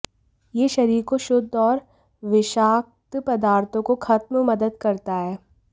यह शरीर को शुद्ध और विषाक्त पदार्थों को खत्म मदद करता है